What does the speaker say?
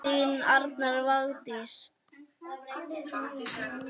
Þín Arna Vigdís.